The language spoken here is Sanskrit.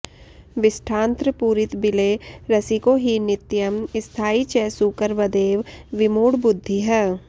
विष्ठान्त्रपूरितबिले रसिको हि नित्यं स्थायी च सूकरवदेव विमूढबुद्धिः